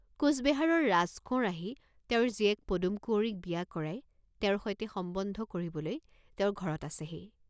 কোচবেহাৰৰ ৰাজকোঁৱৰ আহি তেওঁৰ জীয়েক পদুম কুঁৱৰীক বিয়া কৰাই তেওঁৰ সৈতে সম্বন্ধ কৰিবলৈ তেওঁৰ ঘৰত আছেহি।